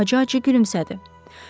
Filip acı-acı gülümsədi.